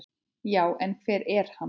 Já, en hver er hann?